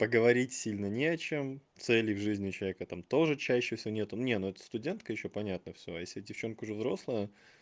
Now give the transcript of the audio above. поговорить сильно не о чем цели в жизни у человека там тоже чаще всего нет не ну это студентка ещё понятно всё а если девчонка уже взрослая